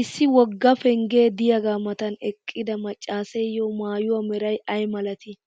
issi woga penggee diyaaga matan eqqida macaasseeyo maayuwa meray ay malatii?